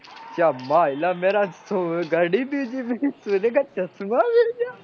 યા માયલા મેરા ચશ્માં ગીર ગયા